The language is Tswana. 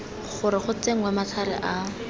gore go tsenngwe matlhare a